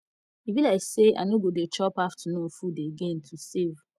e be like say i no go dey chop afternoon food again to save